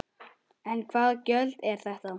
En hvaða gjöld eru þetta?